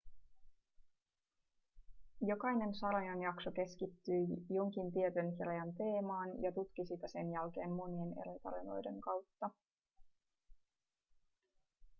jokainen sarjan jakso keskittyi jonkin tietyn kirjan teemaan ja tutki sitä sen jälkeen monien eri tarinoiden kautta